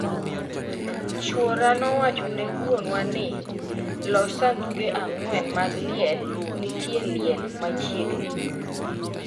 "Chuora nowacho ne wuonwa ni: "Los sanduge ang'wen mag liel...nitie liel machiegni"